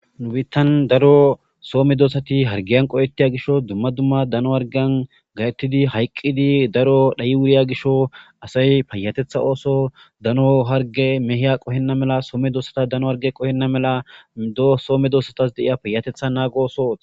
Nu Bittan daro so medosati dumma dumma dano hargiyan qohetid hayq wuryo gishataw hargiyan gahetid hayqid daro dhay wuryo Gishaw asay payatetha ooso dano hargey mwhiya qohena mala so medosata dano hargey qohena mala payatetha nago oso ...